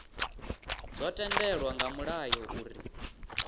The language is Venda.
zwo tendelwa nga mulayo uri